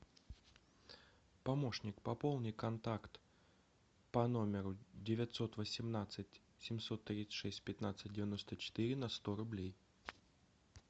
помощник пополни контакт по номеру девятьсот восемнадцать семьсот тридцать шесть пятнадцать девяносто четыре на сто рублей